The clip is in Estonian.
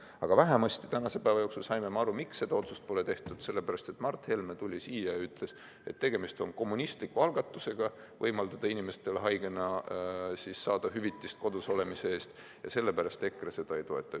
Aga vähemasti tänase päeva jooksul saime me aru, miks seda otsust pole tehtud: Mart Helme tuli siia ja ütles, et tegemist on kommunistliku algatusega võimaldada inimestel haigena saada hüvitist kodus olemise eest ja sellepärast EKRE seda ei toeta.